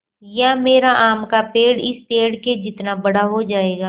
या मेरा आम का पेड़ इस पेड़ के जितना बड़ा हो जायेगा